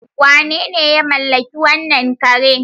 Wanene ya mallaki wannan kare?